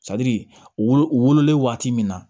wololen waati min na